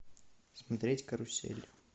смотреть карусель